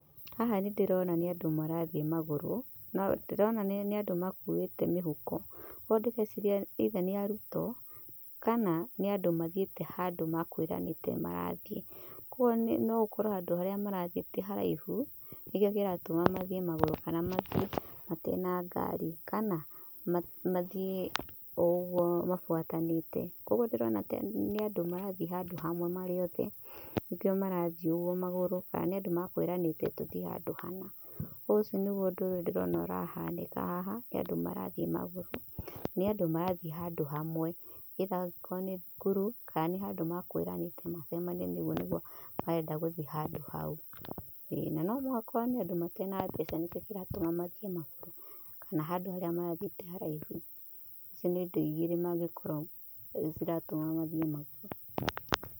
Haha nĩ ndĩrona nĩ andũ marathiĩ magũrũ. No ndĩrona nĩ andũ makuĩte mĩhuko. Ũguo ndĩreciria eitha nĩ arutwo kananĩ andũ mathiĩte handũ mekwiranĩte nĩ marathiĩ. Koguo no gũkorwo handũ harĩa marathiĩ ti haraihu nĩkĩo kĩratũma mathiĩ magũrũ kana mathiĩ matarĩ na ngari, kana mathiĩ o ũguo mabuatanĩĩte. Koguo ndĩrona ta nĩ andũ marathiĩ hamwe marĩ othe, nĩkĩo marathiĩ uguo magũrũ kana nĩ andũ mekwiranĩte tũthiĩ handũ hana. Ũcio nĩguo ũndũ ũrĩa ndĩrona ũrahanĩka haha. Nĩ andũ marathiĩ magũrũ. Nĩ andũ marathiĩ handũ hamwe, eitha angĩkorwo nĩ thukuru kana nĩ handũ mekwiranĩte macemanie rĩu nigũo marenda guthiĩ handũ hau. Ĩi na no makorwo nĩ andũ matarĩ na mbeca nĩkĩo kĩratũma mathiĩ magũrũ, kana handũ harĩa marathiĩ ti haraihu. Icio nĩ indo igĩrĩ mangĩkorwo ciratũma mathiĩ magũrũ.